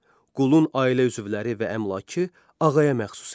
Qulun ailə üzvləri və əmlakı ağaya məxsus idi.